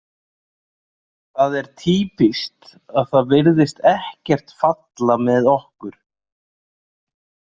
Það er týpískt að það virðist ekkert falla með okkur.